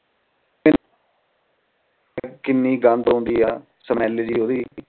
ਕੀਨੀ ਗੰਦ ਆਉਂਦੀ ਆ smell ਜੀ ਓਹਦੇ